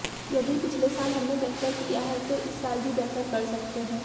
यदि पिछले साल हमने बेहतर किया है तो इस साल भी बेहतर कर सकते हैं